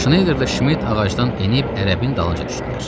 Şneyderlə Şmit ağacdan enib ərəbin dalınca düşdülər.